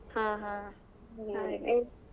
ಹಾ ಹಾ ಹಾಗೆ .